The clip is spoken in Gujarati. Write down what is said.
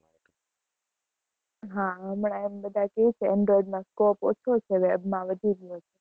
હા હમણાં આવી ને બધા જોશે Android માં scope ઓછો છે. web માં વધી ગયો છે.